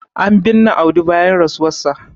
an binne Audi bayan rasuwarsa